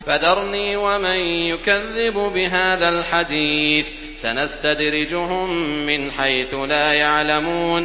فَذَرْنِي وَمَن يُكَذِّبُ بِهَٰذَا الْحَدِيثِ ۖ سَنَسْتَدْرِجُهُم مِّنْ حَيْثُ لَا يَعْلَمُونَ